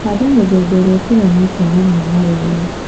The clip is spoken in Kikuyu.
Handa mĩthemba ĩrĩa ĩtiganĩte na mĩmera ĩyo